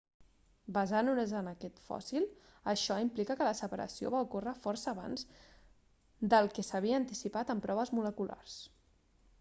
basant-nos en aquest fòssil això implica que la separació va ocórrer força abans del que s'havia anticipat amb proves moleculars